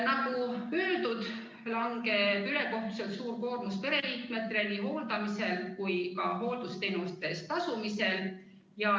Nagu öeldud, langeb ülekohtuselt suur koormus pereliikmetele nii hooldamisel kui ka hooldusteenuste eest tasumisel.